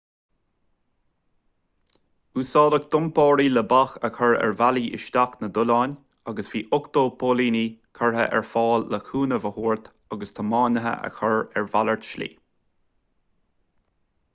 úsáideadh dumpairí le bac a chur ar bhealaí isteach na dtollán agus bhí 80 póilíní curtha ar fáil le cúnamh a thabhairt agus tiománaithe a chur ar mhalairt slí